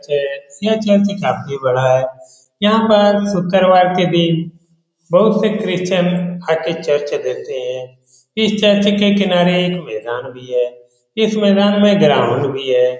च यह चर्च काफी बड़ा है यहाँ पर शुकरवार के दिन बहुत से क्रिस्टियन आ कर चर्च देते हैं इस चर्च के किनारे एक मैदान भी है इस मैदान में एक ग्राउंड भी है ।